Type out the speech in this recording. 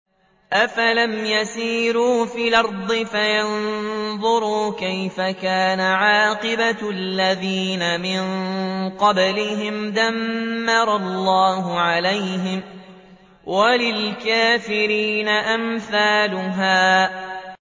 ۞ أَفَلَمْ يَسِيرُوا فِي الْأَرْضِ فَيَنظُرُوا كَيْفَ كَانَ عَاقِبَةُ الَّذِينَ مِن قَبْلِهِمْ ۚ دَمَّرَ اللَّهُ عَلَيْهِمْ ۖ وَلِلْكَافِرِينَ أَمْثَالُهَا